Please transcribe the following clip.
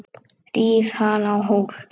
Ríf hana á hol.